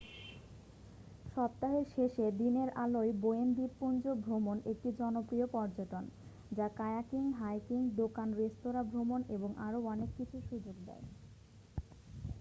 সপ্তাহের শেষে দিনের আলোয় বোয়েন দ্বীপপুঞ্জ ভ্রমণ একটি জনপ্রিয় পর্যটন যা কায়াকিং হাইকিং দোকান-রেস্তোঁরা ভ্রমণ এবং আরও অনেক কিছুর সুযোগ দেয়